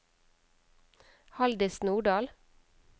Haldis Nordal